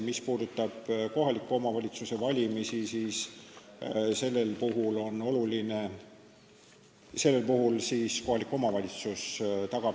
Mis puudutab kohaliku omavalitsuse volikogu valimist, siis sellel puhul katab need kulud kohalik omavalitsus.